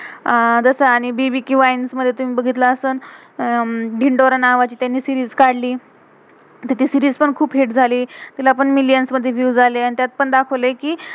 अह जसं आणि बी-बी-क्यू वाइन्स मधे तेन बघितलं असलं, हम्म धिन्डोरा नावाची, त्यांनी सीरीज series काढली. ती सीरीज series पण खुप हिट hit झाली. तिला पण मिलियंस millions मधे विएव्स views आले. आणि त्यात पण दाखवलय कि